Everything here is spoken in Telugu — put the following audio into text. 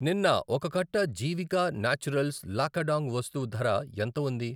నిన్న ఒక కట్ట జీవికా న్యాచురల్స్ లాకాడాంగ్ పసుపు ధర ఎంత ఉంది?